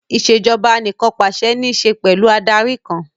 Ìṣèjoba Anìkànpàṣẹ ní ṣe pẹ̀lú Adarí kan